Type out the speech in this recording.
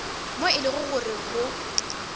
moo e lego gore go